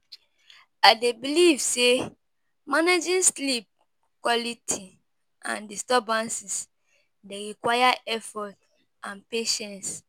I dey believe say managing sleep quality and disturbances dey require effort and patience.